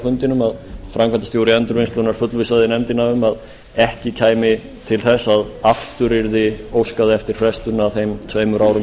fundinum að framkvæmdastjóri endurvinnslunnar fullvissaði nefndina um að ekki kæmi til þess að aftur yrði óskað eftir frestum að þeim tveimur árum